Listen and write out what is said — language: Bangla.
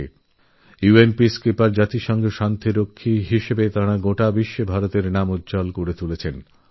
রাষ্ট্রসঙ্ঘ শান্তিরক্ষা বাহিনীর হয়ে এঁরা সারা দুনিয়ায় ভারতের নামউজ্জ্বল করছেন